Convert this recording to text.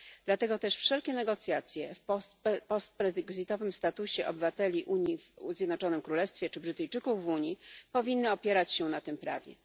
Dlatego też wszelkie negocjacje o postbrexitowym statusie obywateli Unii w Zjednoczonym Królestwie czy Brytyjczyków w Unii powinny opierać się na tym prawie.